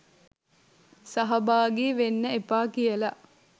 සහභාගි වෙන්න එපා කියලා